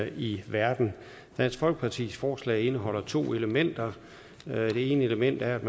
i verden dansk folkepartis forslag indeholder to elementer det ene element er at